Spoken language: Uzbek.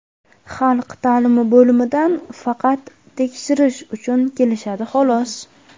Xalq ta’limi bo‘limidan faqat tekshirish uchun kelishadi, xolos.